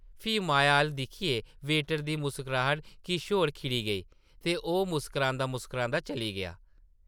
फ्ही माया अʼल्ल दिक्खियै वेटर दी मुस्कराहट किश होर खिड़ी गेई, ते ओह् मुस्करांदा-मुस्करांदा चली गेआ ।